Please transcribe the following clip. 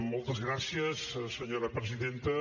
moltes gràcies senyora presidenta